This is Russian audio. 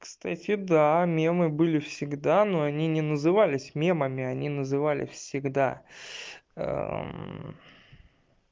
кстати мемы были всегда но они не назывались мемами они называли всегда